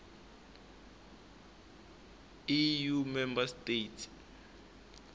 eu member states